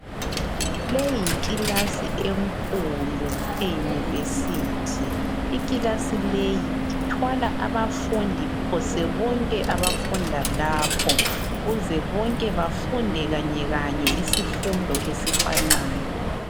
Leyi yikilasi enkulu eyunivesithi ikilasi leyi ithwala abafundi phose bonke abafunda lapho kuze bonke bafunde kanyekanye isifundo esifanayo.